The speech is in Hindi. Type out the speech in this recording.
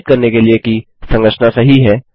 सत्यापित करने के लिए कि संरचना सही है